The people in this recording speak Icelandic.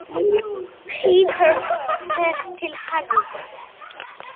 Peter fer til Harrys.